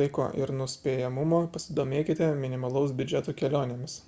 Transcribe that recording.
laiko ir nuspėjamumo pasidomėkite minimalaus biudžeto kelionėmis